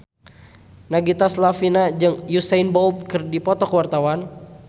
Nagita Slavina jeung Usain Bolt keur dipoto ku wartawan